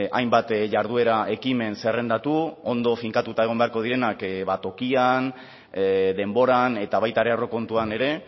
hainbat jarduera ekimen zerrendatu ondo finkatuta egon beharko direnak tokian denboran eta baita ere aurrekontuan ere